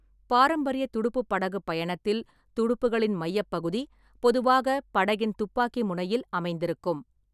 பாரம்பரிய துடுப்புப் படகுப் பயணத்தில், துடுப்புகளின் மையப்பகுதி பொதுவாக படகின் துப்பாக்கி முனையில் அமைந்திருக்கும்.